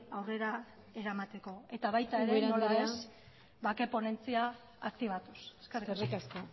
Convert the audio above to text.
aurrera eramateko eta baita ere nola ez ubera andrea bake ponentzia aktibatuz eskerrik asko